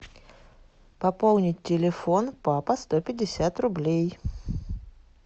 пополнить телефон папа сто пятьдесят рублей